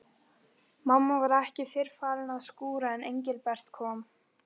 Mamma var ekki fyrr farin að skúra en Engilbert kom.